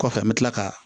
Kɔfɛ an me kila ka